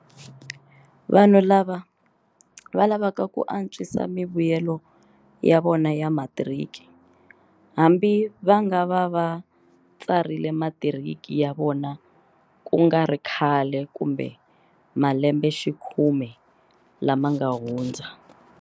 Vanhu lava va lavaka ku antswisa mivuyelo ya vona ya matiriki, hambi va nga va va tsarile matiriki ya vona kungari khale kumbe malembexikhume lama nga hundza.